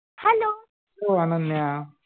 ओ Ananya